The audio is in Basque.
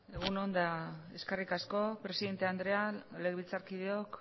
egun on eta eskerrik asko presidente andrea legebiltzarkideok